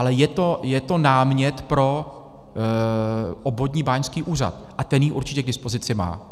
Ale je to námět pro obvodní báňský úřad a ten ji určitě k dispozici má.